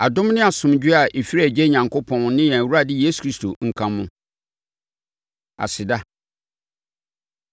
Adom ne asomdwoeɛ a ɛfiri Agya Onyankopɔn ne yɛn Awurade Yesu Kristo nka mo. Aseda